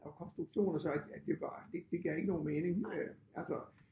Og konstruktioner så ja det var det det gav ikke nogen mening øh altså